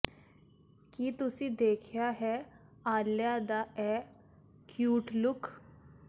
ਕੀ ਤੁਸੀ ਦੇਖਿਆ ਹੈ ਆਲਿਆ ਦਾ ਇਹ ਕਿਊਟ ਲੁੱਕ